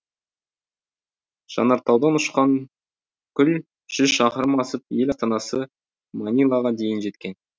жанартаудан ұшқан күл жүз шақырым асып ел ата анасы манилаға дейін жеткен